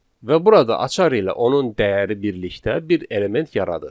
Və burada açar ilə onun dəyəri birlikdə bir element yaradır.